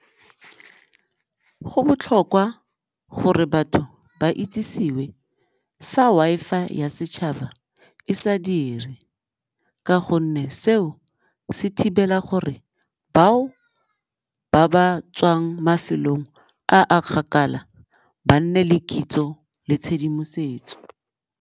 Go botlhokwa gore batho ba itsisewe fa Wi-Fi ya setšhaba e sa dire ka gonne seo se thibela gore bao ba ba tswang mafelong a a kgakala ba nne le kitso le tshedimosetso.